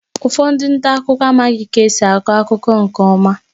Ụfọdụ ndị nta akụkọ amaghị ka esi akọ akụkọ nke ọma